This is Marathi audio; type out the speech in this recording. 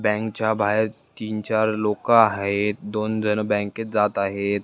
बॅंकच्या बाहेर तीन-चार लोक आहेत दोनजण बँकेत जात आहेत.